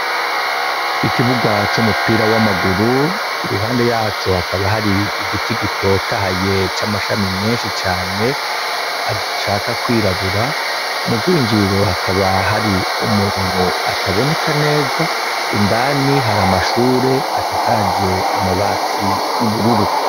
Ikibuga c'umupira wamaguru iruhande yaco hakaba hari igiti gitotahaye c'amashami menshi cane ashaka kwirabura mugwinjirira hakaba hari umuntu ataboneka neza indani hari amashure asakaje amabati yubururu.